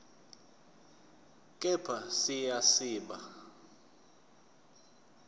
kepha siya siba